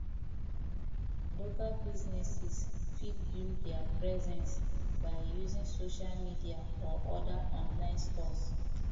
local business fit build their presence by using social media or oda online stores